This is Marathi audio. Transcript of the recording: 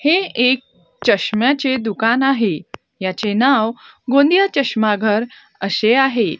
हे एक चष्म्याचे दुकान आहे याचे नाव गोंदिया चष्माघर अशे आहे.